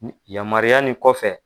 Yamaruya nin kɔfɛ